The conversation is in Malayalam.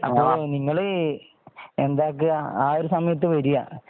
അതു നിങ്ങൾ എന്ത് ആകുക്ക ആ ഒരു സമയത്ത് വരുക